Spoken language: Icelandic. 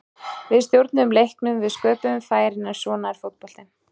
Við stjórnuðum leiknum, við sköpuðum færin, en svona er fótboltinn.